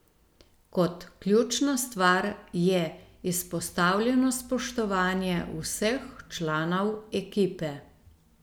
Kot ključna stvar je izpostavljeno spoštovanje vseh članov ekipe.